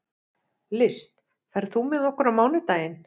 List, ferð þú með okkur á mánudaginn?